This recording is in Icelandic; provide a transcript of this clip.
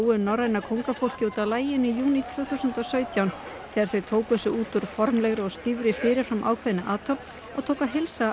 út af laginu í júní tvö þúsund og sautján þegar þau tóku sig út úr formlegri og stífri fyrir fram ákveðinni athöfn og tóku að heilsa alþýðunni